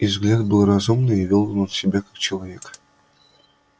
и взгляд был разумный и вёл он себя как человек